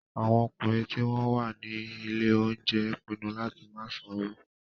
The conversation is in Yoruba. Àwọn ọkùnrin tí wọ́n wà ní ilé-oúnjẹ pinnu láti má sanwó.